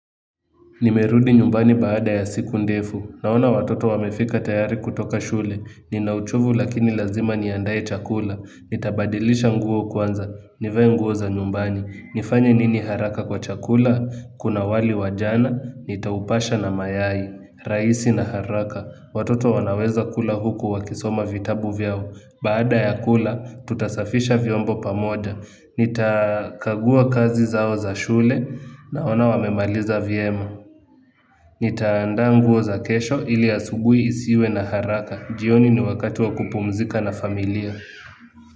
Nimerudi nyumbani baada ya siku ndefu, naona watoto wamefika tayari kutoka shule, nina uchovu lakini lazima niandae chakula, nitabadilisha nguo kwanza, nivae nguo za nyumbani, nifanye nini haraka kwa chakula, kuna wali wa jana, nitaupasha na mayai, rahisi na haraka, watoto wanaweza kula huku wakisoma vitabu vyao. Baada ya kula, tutasafisha vyombo pamoja. Nitakagua kazi zao za shule naona wamemaliza vyema. Nitaanda nguo za kesho ili asubuhi isiwe na haraka. Jioni ni wakati wa kupumzika na familia.